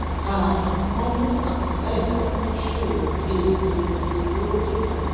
um wọn mú àkàndá ẹdà tó ń ṣòwò um egbòogi olóró lẹkọọ